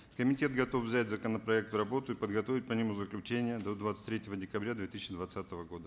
комитет готов взять законопроект в работу и подготовить по нему заключение до двадцать третьего декабря две тысяча двадцатого года